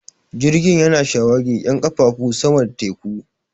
Jirgin yana shawagi 'yan ƙafafu sama da teku